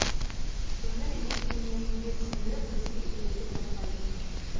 өмір ештеңеніде түсіндіріп бізге үйретіп жатпайды